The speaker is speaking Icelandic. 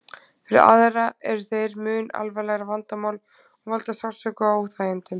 Fyrir aðra eru þeir mun alvarlegra vandamál og valda sársauka og óþægindum.